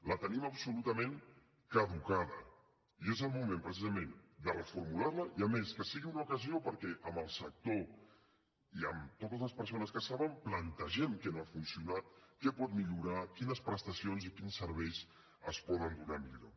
la tenim absolutament caducada i és el moment precisament de reformular la i a més que sigui una ocasió perquè amb el sector i amb totes les persones que en saben plantegem què no ha funcionat què pot millorar quines prestacions i quins serveis es poden donar millor